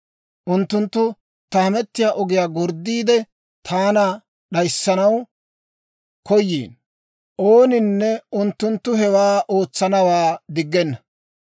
Unttunttu ta hamettiyaa ogiyaa gorddiide, taana d'ayissanaw koyiino; ooninne unttunttu hewaa ootsanawaa diggenna.